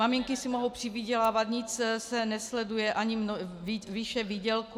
Maminky si mohou přivydělávat, nic se nesleduje, ani výše výdělku.